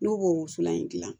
N'u b'o wusulan in gilan